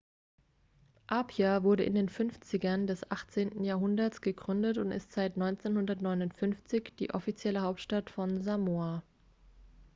apia wurde in den 50ern des 18. jahrunderts gegründet und ist seit 1959 die offizielle hauptstadt von samoa